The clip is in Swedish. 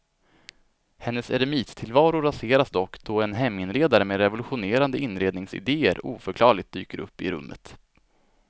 Hennes eremittillvaro raseras dock då en heminredare med revolutionerande inredningsidéer oförklarligt dyker upp i rummet.